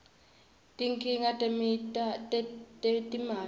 tinkhinga tetimali